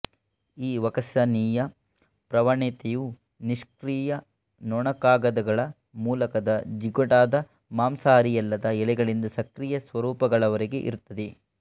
ಈ ವಕಸನೀಯ ಪ್ರವಣತೆಯು ನಿಷ್ಕ್ರಿಯ ನೊಣಕಾಗದಗಳ ಮೂಲಕದ ಜಿಗುಟಾದ ಮಾಂಸಾಹಾರಿಯಲ್ಲದ ಎಲೆಗಳಿಂದ ಸಕ್ರಿಯ ಸ್ವರೂಪಗಳವರೆಗೆ ಇರುತ್ತದೆ